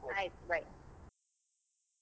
ಆಯ್ತ್ Bye .